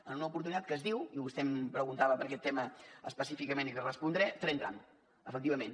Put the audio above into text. en una oportunitat que es diu i vostè em preguntava per aquest tema específicament i li respondré tren tram efectivament